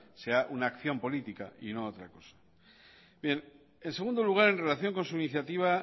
sea una acción política y no otra cosa en segundo lugar en relación con su iniciativa